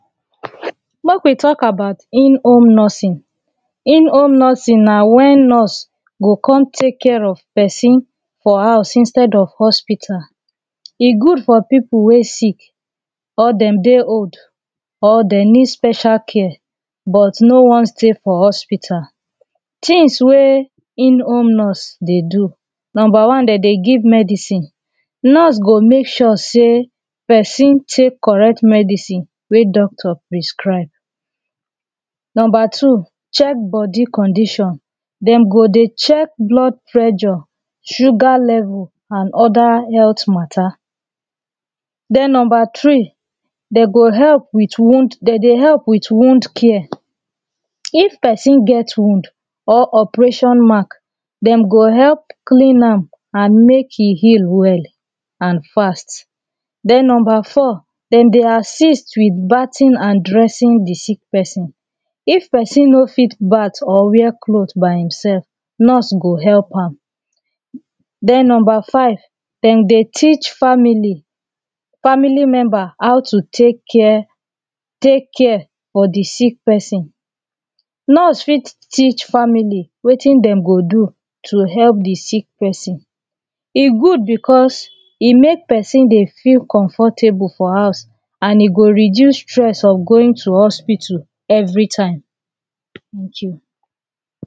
Make we talk about in home nursing. In home nursing na when nurse go come take care of person for house instead of hospital E good for people wey sick or dem dey old or dem need special care but no wan Stay for hospital Things wey in home nurse dey do. Number one dem dey give medicine; nurse go make sure say person take correct medicine sugar level and other health matter then Number three dem go help with wound dem dey help with wound care if person get wound or operation mark dem go help clean am and make e heal well and fast then Number four dem dey assist with bathing and dressing the sick person; if person no fit bath or wear clothe by himself himself nurse go help am then Number five dem dey teach family; family member how to take care take care for the sick person. Nurse fit teach family wetin dem go do to help the sick person. E good because e make person dey feel comfortable for house and e go reduce stress of going to hospital every time.